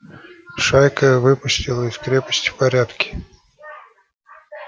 шайка выступила из крепости в порядке